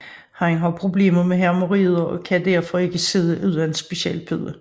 Han har problemer med hæmorroider og kan derfor ikke sidde uden en speciel pude